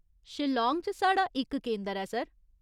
शिलांग च साढ़ा इक केंदर ऐ, सर।